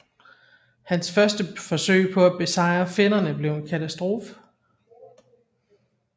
Hans første forsøg på at besejre finnerne blev en katastrofe